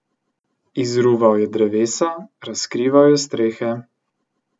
Izruval je drevesa, razkrival je strehe.